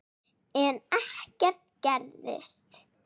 En ekkert gerist.